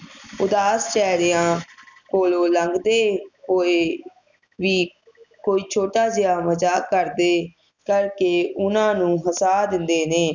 ਉਦਾਸ ਚੇਹਰਿਆਂ ਕੋਲੋਂ ਲੰਘਦੇ ਹੋਏ ਵੀ ਕੋਈ ਛੋਟਾ ਜੇਹਾ ਮਜਾਕ ਕਰਦੇ ਕਰਕੇ ਓਹਨਾ ਨੂੰ ਹਸਾ ਦਿੰਦੇ ਹਨ